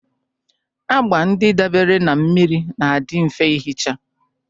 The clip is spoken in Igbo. Agba ndị dabeere na mmiri na-adị mfe ihicha